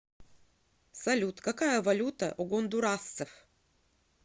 салют какая валюта у гондурасцев